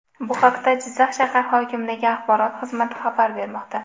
Bu haqda Jizzax shahar hokimligi Axborot xizmati xabar bermoqda .